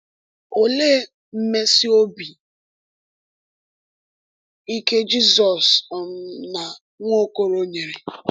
Olee mmesi obi ike Jizọs um na Nwaokolo nyere?